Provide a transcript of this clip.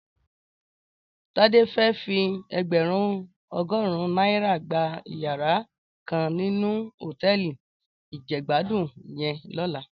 Tade fè fí ègbèrún ògòrún nàirá gbá iyàrá kàn ninú hótèlí ijègbàdún yèn lòlá